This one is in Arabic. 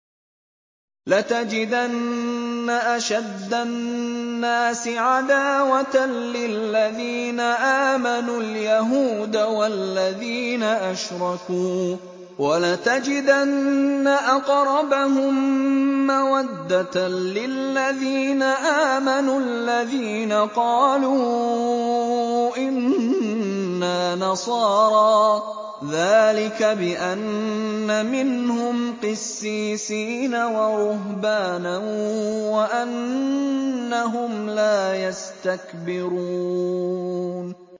۞ لَتَجِدَنَّ أَشَدَّ النَّاسِ عَدَاوَةً لِّلَّذِينَ آمَنُوا الْيَهُودَ وَالَّذِينَ أَشْرَكُوا ۖ وَلَتَجِدَنَّ أَقْرَبَهُم مَّوَدَّةً لِّلَّذِينَ آمَنُوا الَّذِينَ قَالُوا إِنَّا نَصَارَىٰ ۚ ذَٰلِكَ بِأَنَّ مِنْهُمْ قِسِّيسِينَ وَرُهْبَانًا وَأَنَّهُمْ لَا يَسْتَكْبِرُونَ